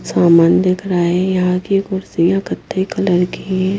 सामान दिख रहे हैं यहां की कुर्सियां कथई कलर की हैं।